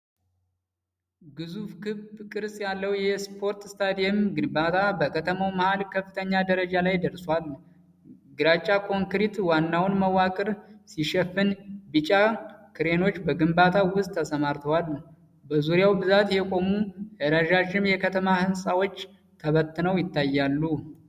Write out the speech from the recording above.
ግዙፍ ክብ ቅርጽ ያለው የስፖርት ስታዲየም ግንባታ በከተማው መሃል ከፍተኛ ደረጃ ላይ ደርሷል። ግራጫ ኮንክሪት ዋናውን መዋቅር ሲሸፍን፣ ቢጫ ክሬኖች በግንባታው ስራ ተሰማርተዋል። በዙሪያው በብዛት የቆሙ ረዣዥም የከተማ ህንፃዎች ተበተነው ይታያሉ፤